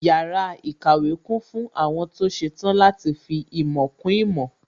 Yàrá ìkàwé kún fún àwọn tó ṣetán láti fi ìmọ̀ kún ìmọ̀